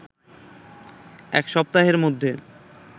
এক সপ্তাহের মধ্যে